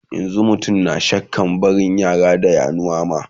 yanzun mutum na shakkan barin yara da yanuwa ma